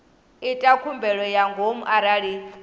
ita khumbelo ya ngomu arali